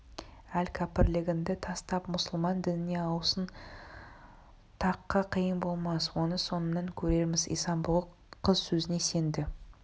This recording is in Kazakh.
ал кәпірлігіңді тастап мұсылман дініне ауысуың тақа қиын болмас оны соңынан көрерміз исан-бұғы қыз сөзіне сенді